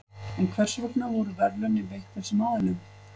En hvers vegna voru verðlaunin veitt þessum aðilum?